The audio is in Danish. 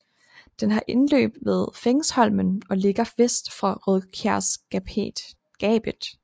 Den har indløb ved Fengesholmen og ligger vest for Rødskjærgapet